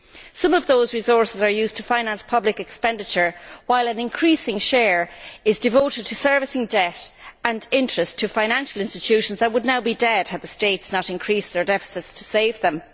Some of those resources are used to finance public expenditure, while an increasing share is devoted to servicing debt and paying interest to financial institutions that would now be dead had the states not increased their deficits to save them.